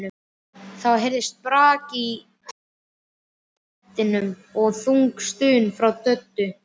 Þá heyrðist brak í hermannabeddanum og þung stuna frá Döddu.